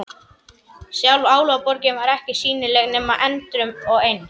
Sjálf Álfaborgin var ekki sýnileg nema endrum og eins.